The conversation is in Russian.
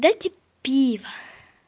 дайте пиво